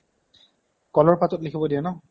কলৰ পাতত লিখিব দিয়ে ন